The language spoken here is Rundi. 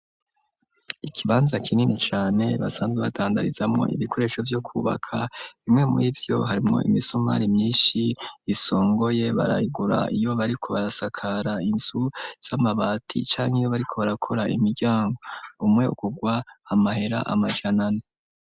Ikibanza kinini cane basanzwe batandarizamwo ibikoresho byo kubaka bimwe muribyo harimo imisomari myinshi yisongoye baragura iyo bariko barasakara inzu z'amabati canke iyo bariko barakora imiryango umwe ukugwa amahera amajanane.